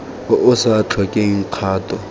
o o sa tlhokeng kgato